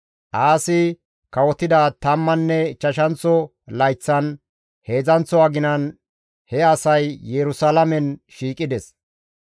Aasi kawotida tammanne ichchashanththo layththan, heedzdzanththo aginan he asay Yerusalaamen shiiqides.